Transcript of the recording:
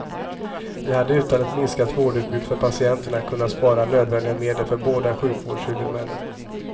Vi hade utan ett minskat vårdutbud för patienterna kunnat spara nödvändiga medel för båda sjukvårdshuvudmännen.